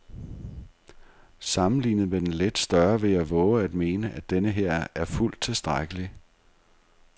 Sammenlignet med den lidt større vil jeg vove at mene, at denneher er fuldt tilstrækkelig.